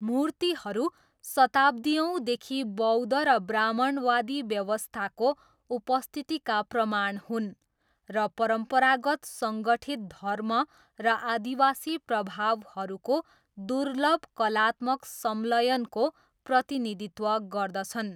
मूर्तिहरू शताब्दीयौँदेखि बौद्ध र ब्राह्मणवादी व्यवस्थाको उपस्थितिका प्रमाण हुन्, र परम्परागत सङ्गठित धर्म र आदिवासी प्रभावहरूको दुर्लभ कलात्मक संलयनको प्रतिनिधित्व गर्दछन्।